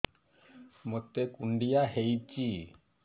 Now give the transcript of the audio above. ମୋତେ କୁଣ୍ଡିଆ ହେଇଚି